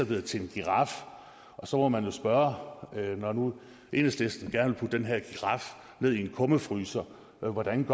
blevet til en giraf så må man jo spørge når nu enhedslisten gerne den her giraf ned i en kummefryser hvordan